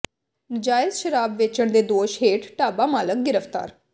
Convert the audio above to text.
ਨਾਜਾਇਜ਼ ਸ਼ਰਾਬ ਵੇਚਣ ਦੇ ਦੋਸ਼ ਹੇਠ ਢਾਬਾ ਮਾਲਕ ਗ੍ਰਿਫ਼ਤਾਰ